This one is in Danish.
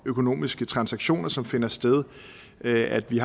økonomiske transaktioner som finder sted at vi